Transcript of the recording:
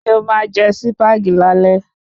Se o máa jẹ Sípàgì lálé